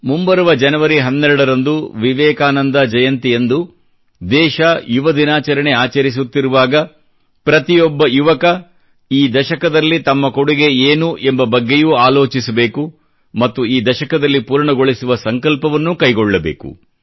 ಮುಂಬರುವ ಜನವರಿ 12 ರಂದು ವಿವೇಕಾನಂದ ಜಯಂತಿಯಂದು ದೇಶ ಯುವದಿನಾಚರಣೆ ಆಚರಿಸುತ್ತಿರುವಾಗ ಪ್ರತಿಯೊಬ್ಬ ಯುವಕ ಈ ದಶಕದಲ್ಲಿ ತಮ್ಮ ಕೊಡುಗೆ ಏನು ಎಂಬ ಬಗ್ಗೆಯೂ ಆಲೋಚಿಸಿ ಮತ್ತು ಈ ದಶಕದಲ್ಲಿ ಪೂರ್ಣಗೊಳಿಸುವ ಸಂಕಲ್ಪವನ್ನೂ ಕೈಗೊಳ್ಳಬೇಕು